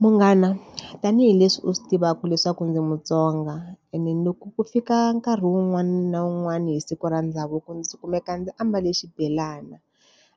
Munghana tanihileswi u swi tivaka leswaku ndzi muTsonga, ene ni loko ku fika nkarhi wun'wani na wun'wani hi siku ra ndhavuko ndzi kumeka ndzi ambale xibelani.